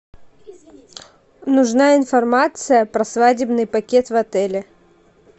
нужна информация про свадебный пакет в отеле